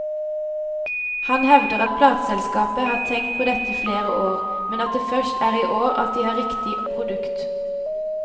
Han hevder at plateselskapet har tenkt på dette i flere år, men at det først er i år at de har riktig produkt.